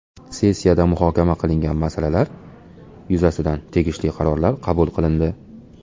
Sessiyada muhokama qilingan masalalar yuzasidan tegishli qarorlar qabul qilindi.